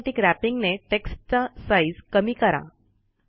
automatic wrapping ने Textचा Sizeकमी करा